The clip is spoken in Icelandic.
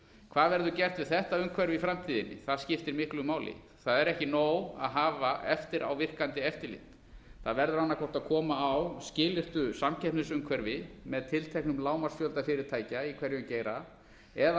hvað verður gert við þetta umhverfi í framtíðinni það skiptir mikið máli það er ekki nóg að hafa eftirávirkandi eftirlit það verður annað hvort að koma á skilyrtu samkeppnisumhverfi með tilteknum lágmarksfjölda fyrirtækja í hverjum geira eða